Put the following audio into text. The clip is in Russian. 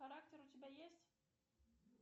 характер у тебя есть